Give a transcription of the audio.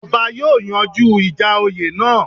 Ọba yóòyanjú ìjà oyè náà